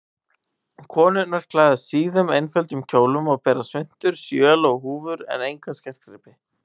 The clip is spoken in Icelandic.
Konurnar klæðast síðum, einföldum kjólum og bera svuntur, sjöl og húfur en enga skartgripi.